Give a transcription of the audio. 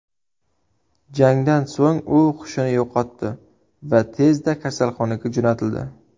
Jangdan so‘ng u hushini yo‘qotdi va tezda kasalxonaga jo‘natildi.